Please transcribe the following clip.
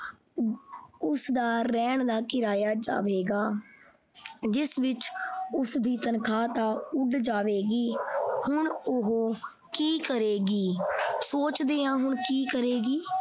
ਉਸਦਾ ਰਹਿਣ ਦਾ ਕਿਰਾਇਆ ਜਾਵੇਗਾ ਜਿਸ ਵਿੱਚ ਉਸਦੀ ਤਨਖ਼ਾਹ ਤਾਂ ਉੱਡ ਜਾਵੇਗੀ ਹੁਣ ਉਹ ਕੀ ਕਰੇਗੀ ਸੋਚਦੇ ਹਾਂ ਕੀ ਕਰੇਗੀ।